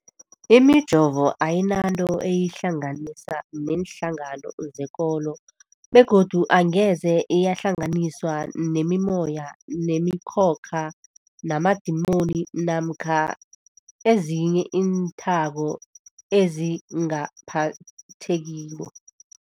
Imijovo ayinanto eyihlanganisa neenhlangano zekolo begodu angeze yahlanganiswa nemimoya, nemi khokha, namadimoni namkha ezinye iinthako ezingaphathekiko.